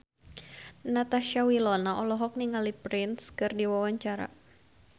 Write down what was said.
Natasha Wilona olohok ningali Prince keur diwawancara